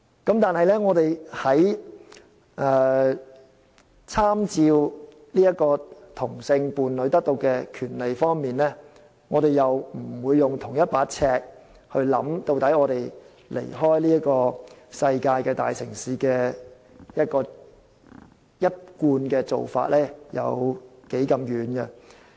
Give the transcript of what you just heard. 然而，在參照其他地方在同性伴侶所享有的權利方面，我們又不用相同的尺來看看究竟香港離開世界大城市的一貫做法有多遠。